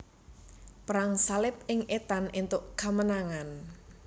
Perang Salib ing Etan entuk kamenangan